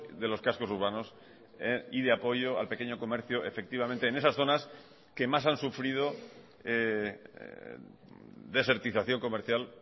de los cascos urbanos y de apoyo al pequeño comercio efectivamente en esas zonas que más han sufrido desertización comercial